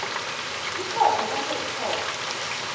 ikhotho kutjho ikhotho